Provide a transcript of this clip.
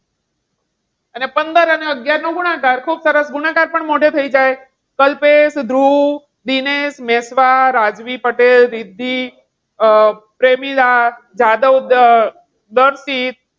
અને પંદર અને અગિયાર નો ગુણાકાર. ખુબ સરસ ગુણાકાર પણ મોઢે થઈ જાય. કલ્પેશ, ધ્રુવ, દિનેશ, વિશ્વા, રાજવી પટેલ, રિદ્ધિ, પ્રેમીલા, જાદવ દર્શિત.